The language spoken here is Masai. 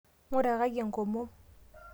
nguraki enkomom